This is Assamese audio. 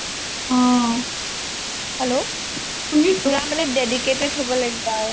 hello পুৰা মানে dedicated হব লাগিব আৰু